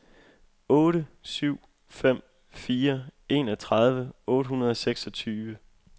otte syv fem fire enogtredive otte hundrede og seksogtyve